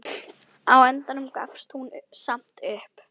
Á endanum gafst hún samt upp.